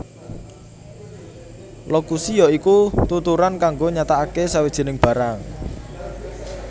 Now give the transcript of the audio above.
Lokusi ya iku tuturan kanggo nyatakaké sawijining barang